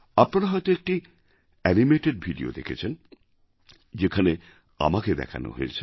আপনারা হয়তো একটি অ্যানিমেটেড ভিডিও দেখেছেন যেখানে আমাকে দেখানো হয়েছে